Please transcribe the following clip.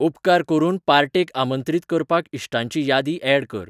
उपकार करून पार्टेक आमंत्रीत करपाक इश्टांची यादी ऍड कर